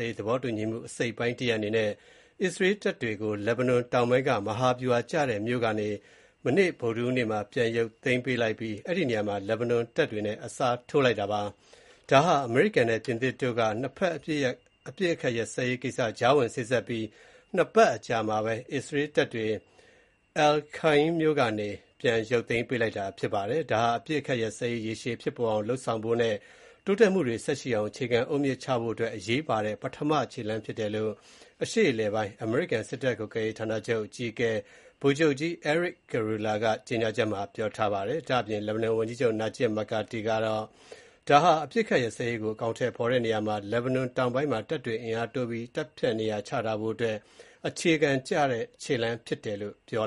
ေးသဘောတူညီမှု အစိတ်အပိုင်းတရပ်အနေနဲ့ အစ္စရေးတပ်တွေကို လက်ဘနွန်တောင်ပိုင်းက မဟာဗျူဟာကျတဲ့မြို့ကနေ မနေ့ ဗုဒ္ဓဟူးနေ့မှာ ပြန်ရုပ်သိမ်းပြီး အဲဒီနေရာမှာ လက်ဘနွန်တပ်တွေနဲ့ အစားထိုးလိုက်ပါတယ်။ ဒါဟာ အမေရိကန်နဲ့ ပြင်သစ်တို့က ၂ ဘက်အပစ်အခတ်ရပ်စဲရေးကြားဝင်စေ့စပ်ပြီး နှစ်ပတ်အကြာမှာ အစ္စရေးတပ်တွေ Al-Khaim မြို့ကနေ ပြန်ရုပ်သိမ်းလိုက်တာဖြစ်ပါတယ်။ ဒါဟာ အပစ်အခတ်ရပ်စဲရေး ရေရှည်ဖြစ်ပေါ်လာအောင်လုပ်ဆောင်ဖို့နဲ့ တိုးတက်မှုတွေဆက်ရှိအောင် အခြေခံအုတ်မြစ်ချဖို့အတွက် အရေးပါတဲ့ ပထမခြေလှမ်းဖြစ်တယ်လို့ US Central Command အရှေ့အလယ်ပိုင်း အမေရိကန် စစ်တပ်ကွပ်ကဲရေးဌာနချုပ် အကြီးအကဲ ဗိုလ်ချုပ်ကြီး Erik Kurilla က ကြေညာချက်မှာ ပြောထားပါတယ်။ လက်ဘနွန်ဝန်ကြီးချုပ် Najib Mikati ကတော့ ဒါဟာ အပစ်အခတ်ရပ်စဲရေးကို အကောင်အထည် ဖော်တဲ့နေရာမှာ လက်ဘနွန်တောင်ပိုင်းမှာ တပ်တွေအင်အားတိုးပြီး တပ်ဖြန့်နေရာချထားဖို့အတွက် အခြေခံချတဲ့ ခြေလှမ်းဖြစ်တယ်လို့ ပြော